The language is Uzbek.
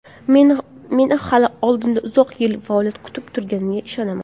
Meni hali oldinda uzoq yillik faoliyat kutib turganiga ishonaman.